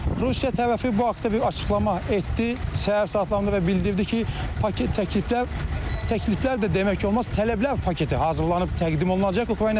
Rusiya tərəfi bu haqda bir açıqlama etdi səhər saatlarında və bildirdi ki, paket təkliflər təkliflər də demək olmaz, tələblər paketi hazırlanıb təqdim olunacaq Ukrayna tərəfinə.